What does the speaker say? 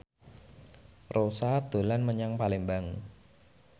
Rossa dolan menyang Palembang